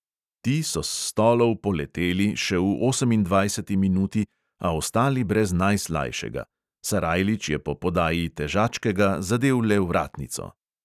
Ti so s stolov "poleteli" še v osemindvajseti minuti, a ostali brez najslajšega: sarajlič je po podaji težačkega zadel le vratnico.